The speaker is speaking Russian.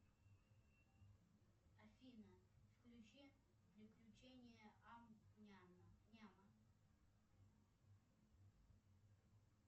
афина включи приключения ам няма